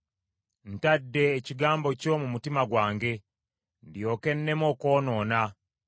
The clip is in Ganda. Ntadde ekigambo kyo mu mutima gwange; ndyoke nneme okwonoona.